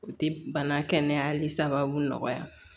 O tɛ bana kɛnɛyali sababuya